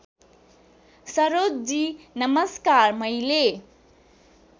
सरोजजी नमस्कार मैले